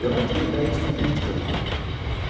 Eu não tinha ideias políticas, não.